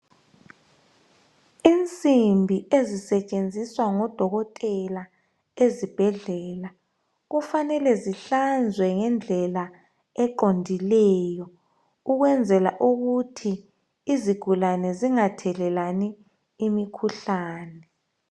Insimbi ezisetshenziswa ngodokotela ezibhedlela kufanele zihlanzwe ngendlela eqondileyo ukwenzela ukuthi izigulane zingathelelani imikhuhlane.